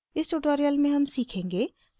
इस tutorial में हम सीखेंगे: